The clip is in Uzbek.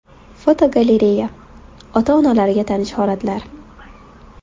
Fotogalereya: Ota-onalarga tanish holatlar.